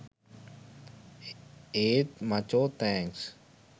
ඒත් මචෝ තෑන්ක්ස්